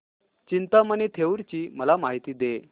चिंतामणी थेऊर ची मला माहिती दे